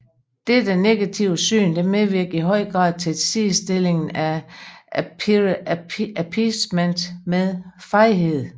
Dette negative syn medvirker i høj grad til sidestillingen af appeasement med fejhed